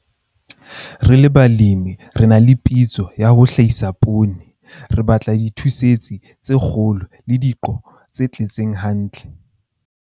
Re le balemi re na le pitso ya ho hlahisa poone. Re batla dithootse tse kgolo le diqo tse tletseng hantle.